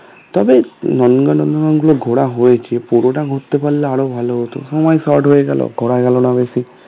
তবে নন্দন কানন গুলো ঘোরা হয়েছে পুরোটা ঘুরতে পারলে আরো ভালো হতো সময় short হয়ে গেল ঘোরা গেল না বেশি